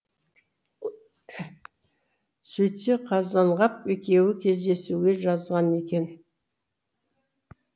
сөйтсе қазанғап екеуі кездесуге жазған екен